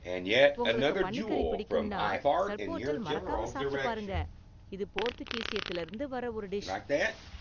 உங்களுக்கு பன்னி கறி பிடிக்கும்னா, சர்போட்டல் மறக்காம சாப்பிட்டு பாருங்க, இது போர்த்துகீசியத்துல இருந்து வந்த ஒரு டிஷ்.